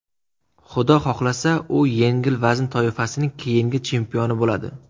Xudo xohlasa, u yengil vazn toifasining keyingi chempioni bo‘ladi.